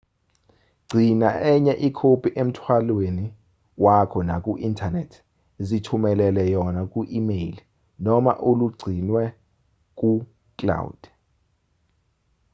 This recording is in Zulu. gcina enye ikhophi emthwalweni wakho naku-inthanethi zithumelele yona ku-imeyili noma uligcinwe ku-"cloud"